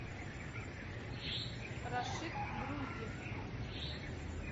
рашид груздев